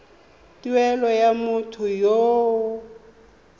tumelelo ya motho yo o